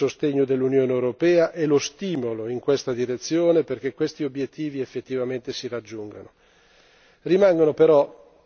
Non mancherà sicuramente il sostegno dell'Unione europea e lo stimolo in questa direzione, perché questi obiettivi effettivamente si raggiungano.